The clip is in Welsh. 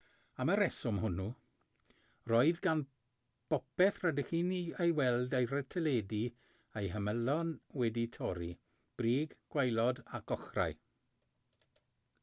am y rheswm hwnnw roedd gan bopeth rydych chi'n ei weld ar y teledu eu hymylon wedi'u torri brig gwaelod ac ochrau